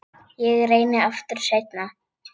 Ég reyni aftur seinna